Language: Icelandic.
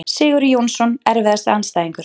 Sigurður Jónsson Erfiðasti andstæðingur?